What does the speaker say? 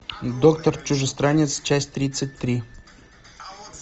доктор чужестранец часть тридцать три